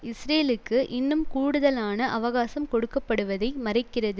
இஸ்ரேலுக்கு இன்னும் கூடுதலான அவகாசம் கொடுக்க படுவதை மறைக்கிறது